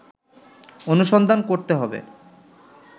অনুসন্ধান করতে হবে